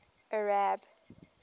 arab